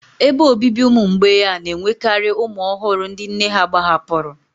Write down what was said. Ebe obibi ụmụ mgbei a na-enwekarị ụmụ ọhụrụ ndị nne ha gbahapụrụ